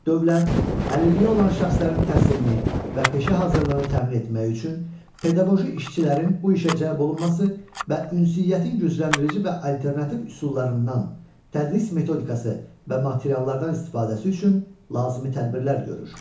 Dövlət, əlilliyi olan şəxslərin təhsilini və peşə hazırlığını təmin etmək üçün pedaqoji işçilərin bu işə cəlb olunması və ünsiyyətin gücləndirici və alternativ üsullarından, tədris metodikası və materiallardan istifadəsi üçün lazımi tədbirlər görür.